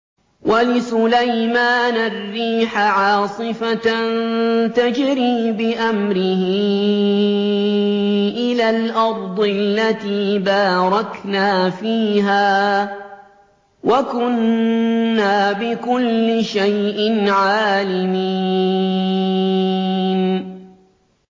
وَلِسُلَيْمَانَ الرِّيحَ عَاصِفَةً تَجْرِي بِأَمْرِهِ إِلَى الْأَرْضِ الَّتِي بَارَكْنَا فِيهَا ۚ وَكُنَّا بِكُلِّ شَيْءٍ عَالِمِينَ